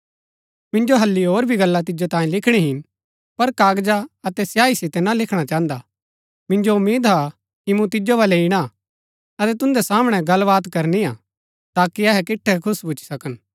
मिन्जो हल्ली होर भी गल्ला तिजो तांई लिखणी हिन पर कागजा अतै सियाई सितै ना लिखणा चाहन्दा मिन्जो उम्मीद हा कि मूँ तिजो बल्लै ईणा हा अतै तुन्दै सामणै गलबात करनी हा ताकि अहै किटठै खुश भूच्ची सकन